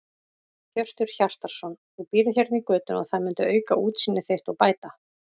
Hjörtur Hjartarson: Þú býrð hérna í götunni og það myndi auka útsýni þitt og bæta?